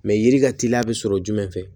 Mɛ yiri ka teli a bɛ sɔrɔ jumɛn fɛ